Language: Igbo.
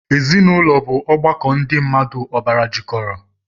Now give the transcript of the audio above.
Ezinụlọ bu ọgbakọ ndị mmmadụ ọbara jikọrọ